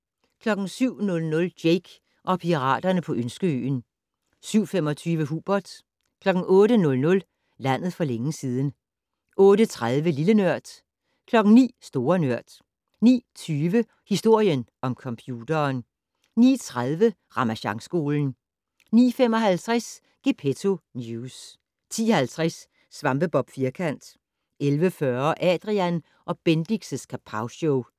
07:00: Jake og piraterne på Ønskeøen 07:25: Hubert 08:00: Landet for længe siden 08:30: Lille Nørd 09:00: Store Nørd 09:20: Historien om computeren 09:30: Ramasjangskolen 09:55: Gepetto News 10:50: SvampeBob Firkant 11:40: Adrian & Bendix' Kapowshow